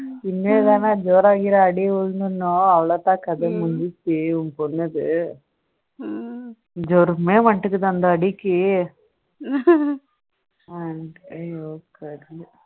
இனிமேதான் ஜுரம் அடி விழுந்திருக்கும் விழுந்தா கதை முடிஞ்சிருச்சு உன் பொண்ணுக்கு ஜுரமே வந்துட்டு இருக்கு தான் இந்த அடிக்கு